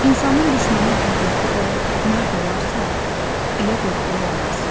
İnsanın düşməni qüvvətli və mərd olarsa, elə qorxulu olmaz.